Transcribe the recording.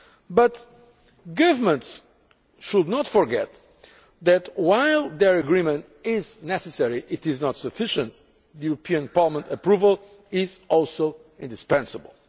But governments should not forget that while their agreement is necessary it is not sufficient the European Parliament's approval is also indispensable.